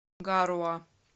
гаруа